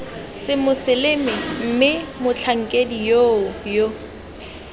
semoseleme mme motlhankedi yoo yo